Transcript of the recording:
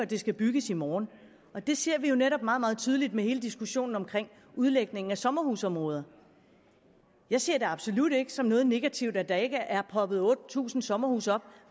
det skal bygges i morgen det ser vi jo netop meget meget tydeligt med hele diskussionen om udlægning af sommerhusområder jeg ser det absolut ikke som noget negativt at der ikke er poppet otte tusind sommerhuse op